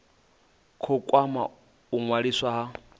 khou kwama u ṅwaliswa ha